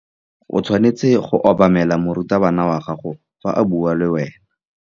O tshwanetse go obamela morutabana wa gago fa a bua le wena.